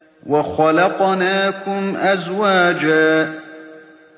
وَخَلَقْنَاكُمْ أَزْوَاجًا